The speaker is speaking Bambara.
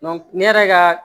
ne yɛrɛ ka